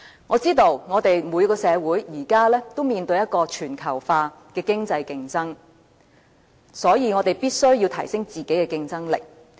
我知道每個社會現時都面對全球化的經濟競爭，所以我們必須提升自己的競爭力。